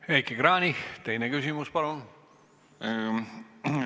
Heiki Kranich, teine küsimus, palun!